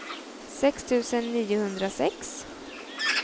sex tusen niohundrasex